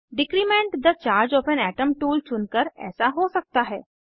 decrement the charge of an atom tool चुनकर ऐसा हो सकता है